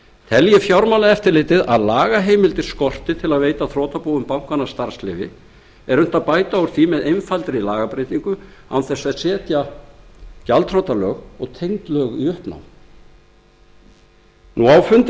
telji fjármálaeftirlitið að lagaheimildir skorti til að veita þrotabúum bankanna starfsleyfi er unnt að bæta úr því með einfaldri lagabreytingu án þess að setja gjaldþrotalög og tengd lög í uppnám á fundi viðskiptanefndar